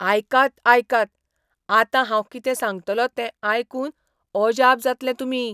आयकात आयकात, आतां हांव कितें सांगतलों ते आयकून अजाप जातले तुमी.